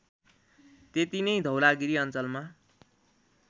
त्यतिनै धौलागिरी अञ्चलमा